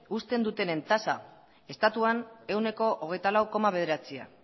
uzten dutenen tasa estatuan ehuneko hogeita lau koma bederatzia